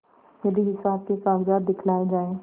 यदि हिसाब के कागजात दिखलाये जाएँ